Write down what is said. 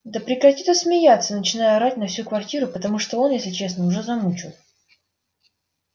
да прекрати ты смеяться начинаю орать на всю квартиру потому что он если честно уже замучил